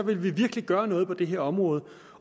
vi virkelig gøre noget på det her område